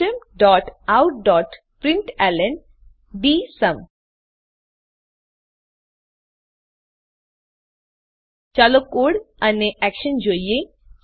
systemoutપ્રિન્ટલન ચાલો કોડ અને એક્શન જોઈએ